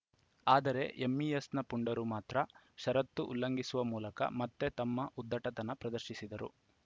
ಆದರೆ ಎಂಇಎಸ್‌ನ ಪುಂಡರು ಮಾತ್ರ ಷರತ್ತು ಉಲ್ಲಂಘಿಸುವ ಮೂಲಕ ಮತ್ತೆ ತಮ್ಮ ಉದ್ಧಟತನ ಪ್ರದರ್ಶಿಸಿದರು